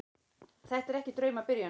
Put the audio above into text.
Þetta er ekki draumabyrjun.